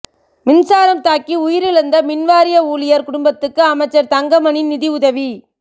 மின்சாரம் தாக்கி உயிரிழந்த மின்வாரிய ஊழியர் குடும்பத்துக்கு அமைச்சர் தங்கமணி நிதியுதவி